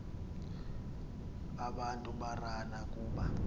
abantu barana kuba